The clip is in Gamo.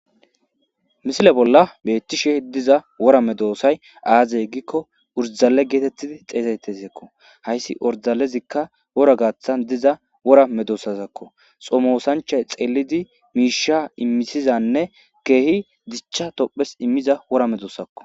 Misile bolla betishe diza wora medossayi aze giko oriddale getetidi xessetiyako hayissi oridalezika worra gathani diza worra medossatako xomosanichayi xellidi misha imizanne kehi dicha tophesi gidida wora medosako